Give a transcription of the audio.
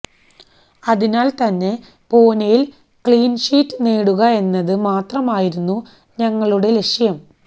അതിനാല് തന്നെ പൂനെയില് ക്ലീന് ഷീറ്റ് നേടുക എന്നത് മാത്രമായിരുന്നു ഞങ്ങളുടെ ലക്ഷ്യം